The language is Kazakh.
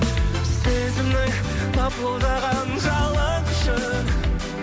сезімнің лапылдаған жалыны үшін